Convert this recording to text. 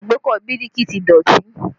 Agbékọ̀ Biliki ti dọ̀tí